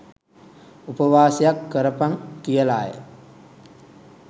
උපවාසයක් කොරපන් කියලාය.